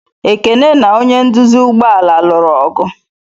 Ekene na onye nduzi ụgbọ ala lụrụ ọgụ.